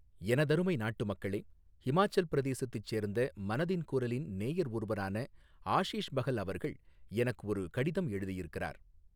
எனதருமை நாட்டுமக்களே, ஹிமாச்சல் பிரதேசத்தைச் சேர்ந்த மனதின் குரலின் நேயர் ஒருவரான ஆஷீஷ் பஹல் அவர்கள் எனக்கு ஒரு கடிதம் எழுதியிருக்கிறார்.